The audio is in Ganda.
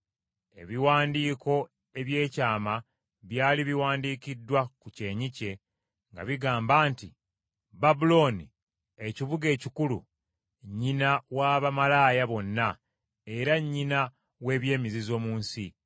Ebiwandiiko eby’ekyama byali biwandiikiddwa ku kyenyi kye nga bigamba nti: Babulooni Ekibuga Ekikulu Nnyina wa Bamalaaya bonna, era Nnyina w’Eby’emizizo mu nsi.